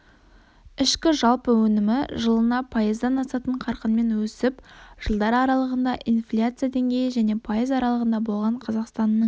ішкі жалпы өнімі жылына пайыздан асатын қарқынмен өсіп жылдар аралығында инфляция деңгейі және пайыз аралығында болған қазақстанның